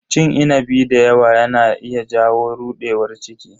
Cin inabi dayawa yana iya jawo rudewar ciki.